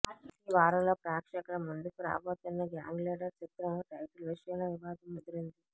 ఈ వారంలో ప్రేక్షకుల ముందుకు రాబోతున్న గ్యాంగ్లీడర్ చిత్రం టైటిల్ విషయంలో వివాదం ముదిరింది